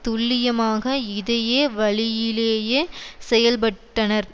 துல்லியமாக இதயே வழியிலேயே செயல்பட்டனர்